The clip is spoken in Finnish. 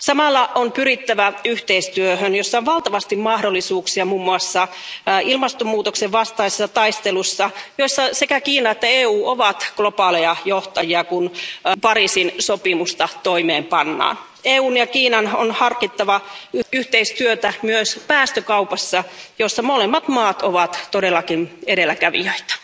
Samalla on pyrittävä yhteistyöhön, jossa on valtavasti mahdollisuuksia muun muassa ilmastonmuutoksen vastaisessa taistelussa, jossa sekä Kiina että EU ovat globaaleja johtajia, kun Pariisin sopimusta toimeenpannaan. EUn ja Kiinan on harkittava yhteistyötä myös päästökaupassa, jossa molemmat maat ovat todellakin edelläkävijöitä.